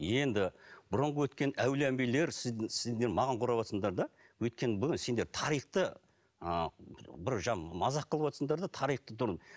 енді бұрынғы өткен әулие әмбиелер маған өйткені сендер тарихты ы бір мазақ қылыватырсыңдар да тарихты